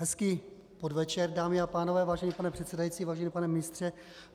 Hezký podvečer, dámy a pánové, vážený pane předsedající, vážený pane ministře.